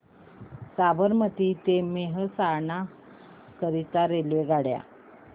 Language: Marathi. साबरमती ते मेहसाणा करीता रेल्वेगाड्या